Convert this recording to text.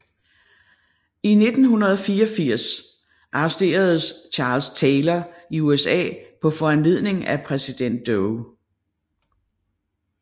I 1984 arresteres Charles Taylor i USA på foranledning af præsident Doe